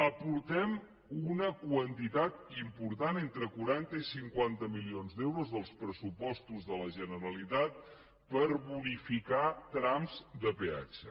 aportem una quantitat important entre quaranta i cinquanta milions d’euros dels pressupostos de la generalitat per bonificar trams de peatge